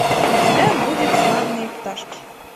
у тебя будет славные пташки